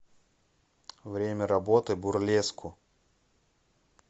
время работы бурлеску